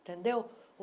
Entendeu?